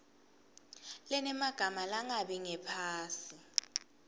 lenemagama langabi ngaphasi